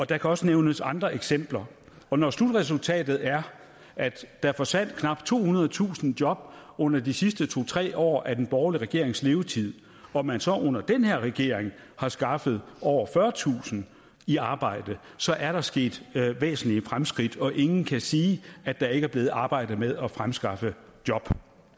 der kan også nævnes andre eksempler og når slutresultatet er at der forsvandt knap tohundredetusind job under de sidste to tre år af den borgerlige regerings levetid og man så under den her regering har skaffet over fyrretusind i arbejde så er der sket væsentlige fremskridt og ingen kan sige at der ikke er blevet arbejdet med at fremskaffe job